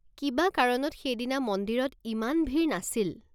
কিবা কাৰণত সেইদিনা মন্দিৰত ইমান ভিৰ নাছিল।